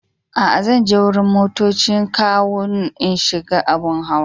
Aa, zan je wurin motoccin kawo n'shiga abun hawa.